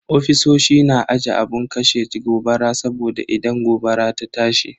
Ofisoshi na aje abun kashe gobara saboda idan gobara ta tashi.